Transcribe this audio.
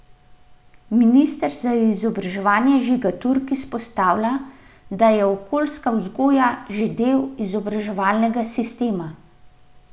Minister za izobraževanje Žiga Turk izpostavlja, da je okoljska vzgoja že del izobraževalnega sistema.